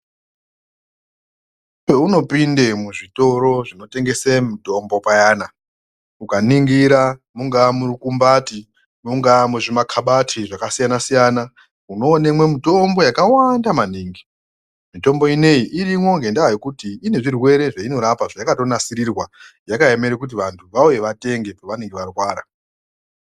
Peunopinde muzvitoro zvinotengese mutombo payana ukaningira mungaa murukumbati mungaa muzvimakabati zvakasiyana-siyana. Unoonemwe mitombo yakawanda maningi. Mitombo ineyi irimwo ngendaa yekuti ine zvirwere zveinorapa zvayakatonasirirwa, yakaemere kuti vantu vauye vatenge pavanenge varwara.